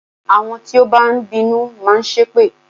Àwọn tí ó bá ń bínú máa ṣépè